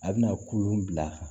A bɛna kulu bila a kan